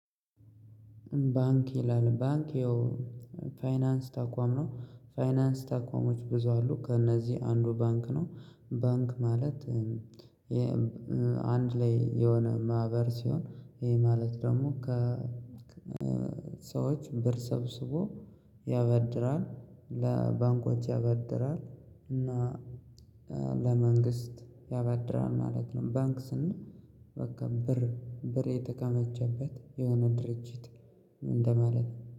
ባንክ ይላል ባንክ ያው ፋይናንስ ተቋም ነው ፋይናንስ ተቋሞች ብዙ አሉ ከእነዚህ አንዱ ባንክ ነው። ባንክ ማለት አንድ ላይ የሆነ ማህበር ሲሆን ይሄ ማለት ደግሞ። ሰዎች ብር ሰብስቦ ያበድራል ለባንኮች ያበድራል እና ለመንግስት ያበድራል ማለት ነው። ባንክ ስንል በቃ ብር ብር የተከማቸበት የሆነ ድርጅት። እንደማለት